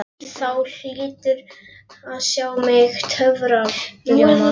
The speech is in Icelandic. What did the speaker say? Þú hlýtur að sjá mig í töfraljóma?